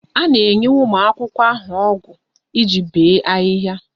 A na-enye ụmụ akwụkwọ ahụ ọgụ iji bee ahịhịa